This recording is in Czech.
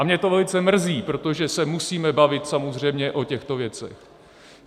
A mě to velice mrzí, protože se musíme bavit samozřejmě o těchto věcech.